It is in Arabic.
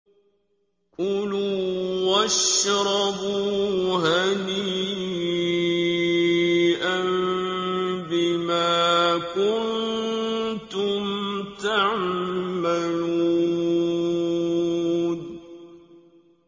كُلُوا وَاشْرَبُوا هَنِيئًا بِمَا كُنتُمْ تَعْمَلُونَ